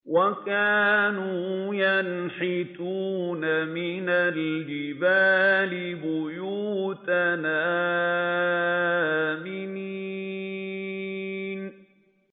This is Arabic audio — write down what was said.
وَكَانُوا يَنْحِتُونَ مِنَ الْجِبَالِ بُيُوتًا آمِنِينَ